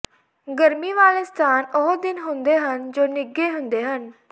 ਗਰਮੀ ਵਾਲੇ ਸਥਾਨ ਉਹ ਦਿਨ ਹੁੰਦੇ ਹਨ ਜੋ ਨਿੱਘੇ ਹੁੰਦੇ ਹਨ